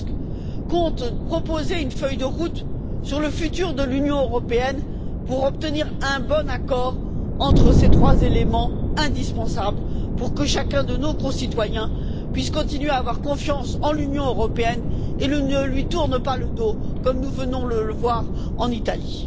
Tusk compte proposer une feuille de route sur le futur de l'Union européenne pour obtenir un bon accord au regard de ces trois éléments indispensables, pour que chacun de nos concitoyens puisse continuer à avoir confiance en l'Union européenne et ne lui tourne pas le dos, comme nous venons de le voir en Italie.